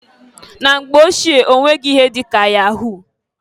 Na mgbe ochie onweghi ihe di ka yahu.